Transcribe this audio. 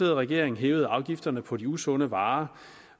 regering hævede afgifterne på de usunde varer